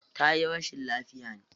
Tayi rashin lafiya ne?